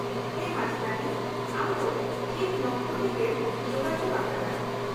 -ᱦᱮᱸ, ᱢᱟᱪᱮᱛᱟᱹᱱᱤ ! ᱟᱢ ᱫᱚ ᱴᱷᱤᱠ ᱱᱚᱢᱵᱚᱨ ᱨᱮᱜᱮᱢ ᱡᱳᱜᱟᱡᱳᱜ ᱟᱠᱟᱫᱟ ᱾